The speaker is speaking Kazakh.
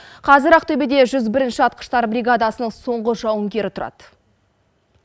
қазір ақтөбеде жүз бірінші атқыштар бригадасының соңғы жауынгері тұрады